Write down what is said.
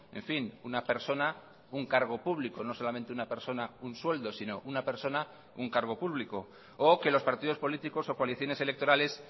en fin una persona un cargo público no solamente una persona un sueldo sino una persona un cargo público o que los partidos políticos o coaliciones electorales